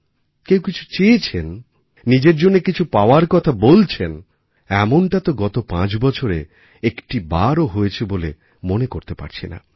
কেউ কিছু চেয়েছেন নিজের জন্য কিছু পাওয়ার কথা বলছেন এমনটা তো গত পাঁচবছরে একটিবারও হয়েছে বলে মনে করতে পারছি না